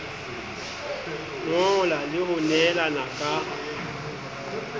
ngola le ho nehelana ka